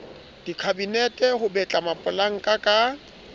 dikhabinete ho betla mapolanka ho